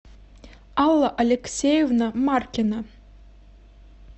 алла алексеевна маркина